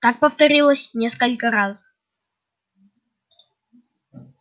так повторилось несколько раз